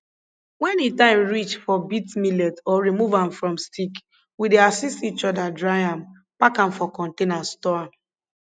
when e time for beat millet or remove am from stick we dey assist each other dry am pack am for container store am